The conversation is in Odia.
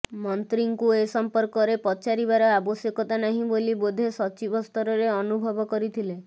ମନ୍ତ୍ରୀଙ୍କୁ ଏ ସଂପର୍କରେ ପଚାରିବାର ଆବଶ୍ୟକତା ନାହିଁ ବୋଲି ବୋଧେ ସଚିବ ସ୍ତରରେ ଅନୁଭବ କରିଥିଲେ